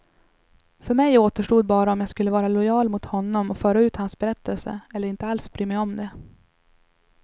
För mig återstod bara om jag skulle vara lojal mot honom och föra ut hans berättelse, eller inte alls bry mig om det.